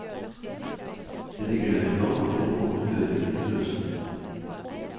Det ligger derfor an til en åpen høring til høsten.